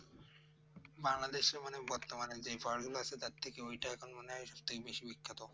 বাংলাদেশ মানে বর্তমানে যে ফর্মুলা সেটা থেকে ওইটা এখন মানে সব থেকে বেশি বিখ্যাত